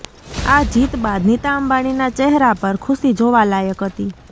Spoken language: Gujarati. આ જીત બાદ નીતા અંબાણીના ચેહરા પર ખુશી જોવા લાયક હતી